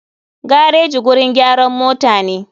Gareji gurin gyaran motane.